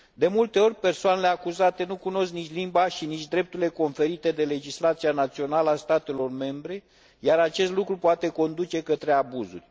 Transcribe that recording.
De mult ori, persoanele acuzate nu cunosc nici limba și nici drepturile conferite de legislația națională a statelor membre, iar acest lucru poate conduce la abuzuri.